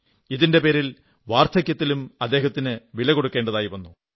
ഇതിന്റെ പേരിൽ വാർധക്യത്തിലും അദ്ദേഹത്തിന് വില കൊടുക്കേണ്ടി വന്നു